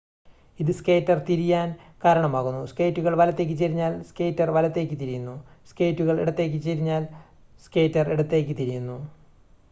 ഇത് സ്കേറ്റർ തിരിയാൻ കാരണമാകുന്നു സ്കേറ്റുകൾ വലത്തേക്ക് ചെരിഞ്ഞാൽ സ്കേറ്റർ വലത്തേക്ക് തിരിയുന്നു സ്കേറ്റുകൾ ഇടത്തേക്ക് ചെരിഞ്ഞാൽ സ്കേറ്റർ ഇടത്തേക്ക് തിരിയുന്നു